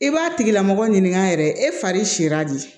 I b'a tigila mɔgɔ ɲininka yɛrɛ e fari sirila de